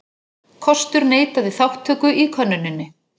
Kostur neitaði þátttöku í könnuninni